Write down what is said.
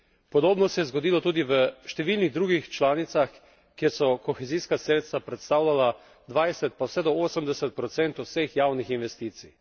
Podobno se je zgodilo tudi v številnih drugih članicah, kjer so kohezijska sredstva predstavljala 20, pa vse do 80 procentov vseh javnih investicij.